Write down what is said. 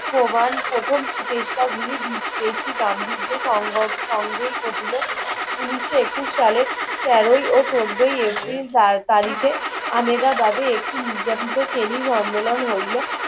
প্রমান প্রথম প্রচেষ্টা গুলি বিসেক্সীকাম বিদ্বেষ সঙ্গক সঙ্গেই ঘটিল উনিশ একুশ সালের তেরোই ও চোদ্দই এপ্রিল তারিখে আমেদাবাদে একটি নির্যাতিত শ্রেণীর সোমেলন হইলো